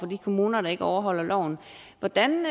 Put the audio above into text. de kommuner der ikke overholder loven hvordan